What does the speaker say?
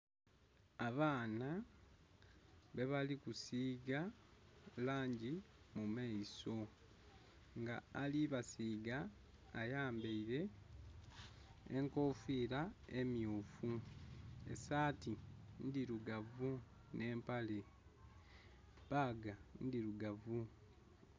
Abaana bebali kusiiga langi mu maiso, nga ali basiiga ayambaire enkofira emyufu esaati ndhirugavu nhe empale, bbaga ndhirugavu.